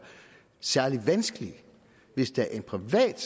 særlig vanskeligt hvis det er en privat